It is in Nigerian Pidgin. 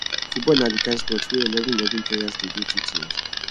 football na di kain sports wey eleven eleven players dey dey two teams